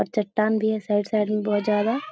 और चट्टान भी है साइड साइड में बहुत ज्यादा --